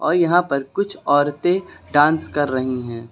यहां पर कुछ औरतें डांस कर रही हैं।